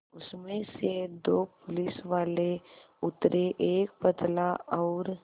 उसमें से दो पुलिसवाले उतरे एक पतला और